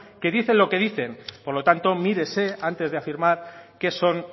que dicen lo que dicen por lo tanto mírese antes de afirmar qué son